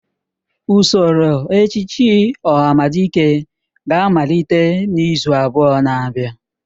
Usoro echiche ohamadike ga-amalite n'izu abụọ na abịa.